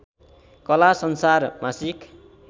कला संसार मासिक